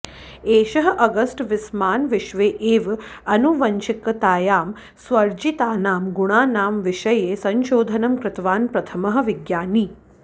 एषः August Weismann विश्वे एव आनुवंशिकतायां स्वार्जितानां गुणानां विषये संशोधनं कृतवान् प्रथमः विज्ञानी